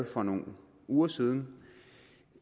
for nogle uger siden